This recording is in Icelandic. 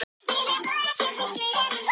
Þín Anna Sif.